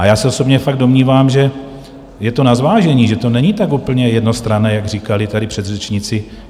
A já se osobně fakt domnívám, že je to na zvážení, že to není tak úplně jednostranné, jak říkali tady předřečníci.